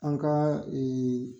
An ka